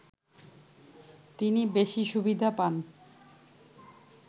তিনি বেশি সুবিধা পান